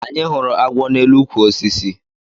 Anyị hụrụ agwọ na elu ukwu osisi